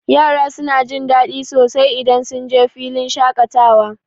Yara suna jin daɗi sosai idan sunje filin shaƙatawa.